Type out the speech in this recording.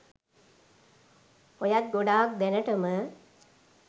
ඔයත් ගොඩක් දෑනටම